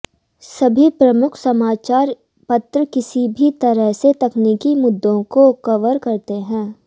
सभी प्रमुख समाचार पत्र किसी भी तरह से तकनीकी मुद्दों को कवर करते हैं